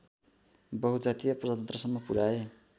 बहुजातीय प्रजातन्त्रसम्म पुर्‍याए